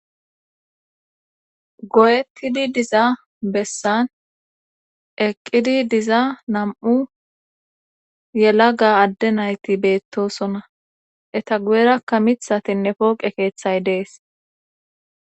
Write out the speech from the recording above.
Goyettidi diza bessan eqqidi diza nam'u yela ga adde nayti beettosona eta guyerakka mithatinne pooqe keeththay dees